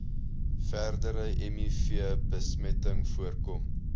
verdere mivbesmetting voorkom